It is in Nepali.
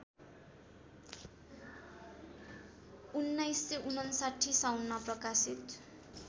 १९५९ साउनमा प्रकाशित